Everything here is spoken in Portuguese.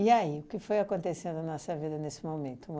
aí, o que foi acontecendo na sua vida nesse momento? Uma